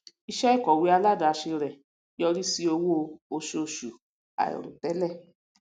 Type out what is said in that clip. iṣẹ ìkòwé aládàáse rẹ yọrí sí owó osoosù àìròtélè